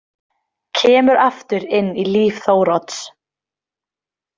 Kemur aftur inn í líf Þórodds.